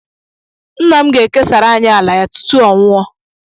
Nna m ga-ekesara anyị ala-ya tutu ọnwụọ.